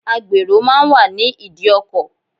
Agbèrò máa ń wà ní ìdí ọkọ̀.